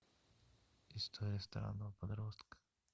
история странного подростка